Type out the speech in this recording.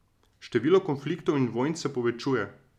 Število konfliktov in vojn se povečuje.